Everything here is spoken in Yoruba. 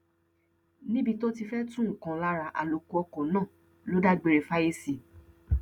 níbi tó ti fẹẹ tú nǹkan lára àlòkù ọkọ náà ló dágbére fáyé sí